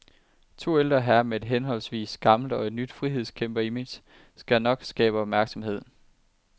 To ældre herrer med et henholdsvis gammelt og nyt frihedskæmperimage skal nok skabe opmærksomhed.